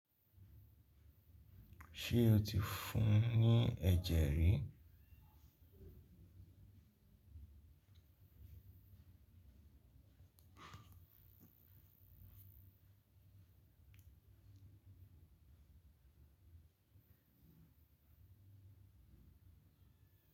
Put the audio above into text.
Ṣé o ti fún ní ẹ̀jẹ̀ rí?